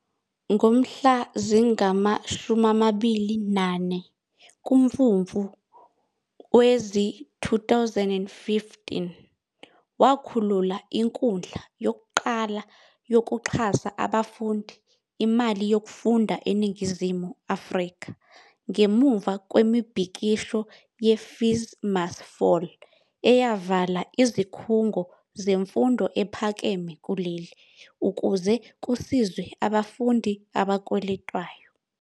Ngomhla zingama-24 kuMfumfu wezi-2015, wakhulula inkundla yokuqala yokuxhasa abafundi imali yokufunda eNingizimu Afrika ngemuva kwemibhikisho ye-FeesMustFall eyavala izikhungo zemfundo ephakeme kuleli ukuze kusizwe abafundi abakweletwayo.